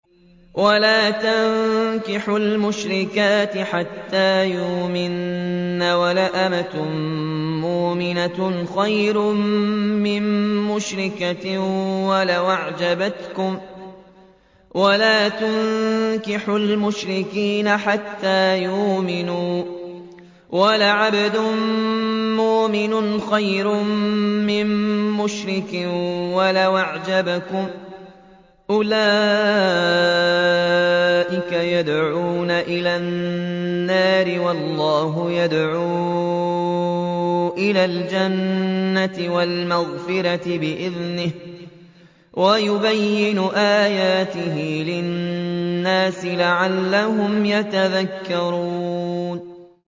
وَلَا تَنكِحُوا الْمُشْرِكَاتِ حَتَّىٰ يُؤْمِنَّ ۚ وَلَأَمَةٌ مُّؤْمِنَةٌ خَيْرٌ مِّن مُّشْرِكَةٍ وَلَوْ أَعْجَبَتْكُمْ ۗ وَلَا تُنكِحُوا الْمُشْرِكِينَ حَتَّىٰ يُؤْمِنُوا ۚ وَلَعَبْدٌ مُّؤْمِنٌ خَيْرٌ مِّن مُّشْرِكٍ وَلَوْ أَعْجَبَكُمْ ۗ أُولَٰئِكَ يَدْعُونَ إِلَى النَّارِ ۖ وَاللَّهُ يَدْعُو إِلَى الْجَنَّةِ وَالْمَغْفِرَةِ بِإِذْنِهِ ۖ وَيُبَيِّنُ آيَاتِهِ لِلنَّاسِ لَعَلَّهُمْ يَتَذَكَّرُونَ